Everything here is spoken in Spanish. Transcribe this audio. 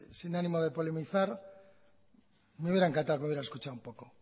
sin ánimo de polemizar me hubiera encantado que hubiera escuchado un poco